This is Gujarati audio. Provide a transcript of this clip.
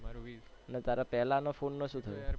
અને તારા પેલાના ફોન માં શું થયું?